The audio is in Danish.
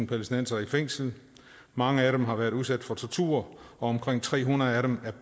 palæstinensere i fængsel mange af dem har været udsat for tortur og omkring tre hundrede af dem